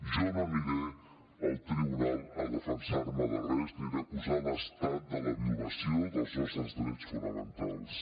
jo no aniré al tribunal a defensar me de res aniré a acusar l’estat de la violació dels nostres drets fonamentals